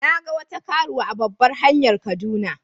Na ga wata karuwa a babbar hanyar kaduna.